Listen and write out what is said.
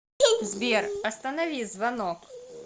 сбер останови звонок